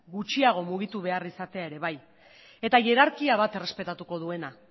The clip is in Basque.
gutxiago mugitu behar izatea ere bai eta jerarkia bat errespetatuko duena